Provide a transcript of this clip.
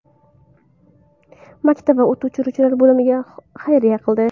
Maktab va o‘t o‘chiruvchi bo‘limlarga xayriya qildi.